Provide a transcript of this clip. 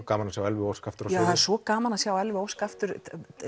gaman að sjá Elfu Ósk aftur á sviði það er svo gaman að sjá Elfu Ósk aftur